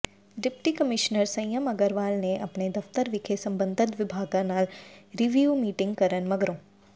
deputy commissioner Sanyam Agarwal ਨੇ ਅਪਣੇ ਦਫਤਰ ਵਿਖੇ ਸਬੰਧਤ ਵਿਭਾਗਾਂ ਨਾਲ ਰੀਵਿਓ ਮੀਟਿੰਗ ਕਰਨ ਮਗਰੋਂ